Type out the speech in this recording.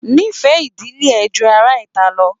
N'ifẹ ìdílé rẹ jù ará ìta lọ!